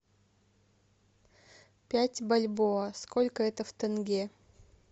пять бальбоа сколько это в тенге